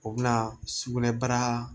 O bɛna sugunɛbara